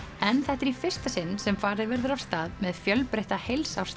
en þetta er í fyrsta sinn sem farið verður af stað með fjölbreytta